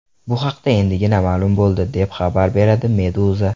Bu haqda endigina ma’lum bo‘ldi, deb xabar beradi Meduza.